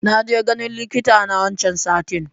Naje ganin likita na wancan satin